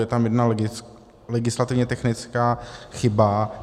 Je tam jedna legislativně technická chyba.